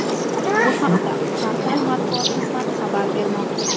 Bu haqda portal matbuot xizmati xabar bermoqda .